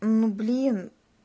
ну блин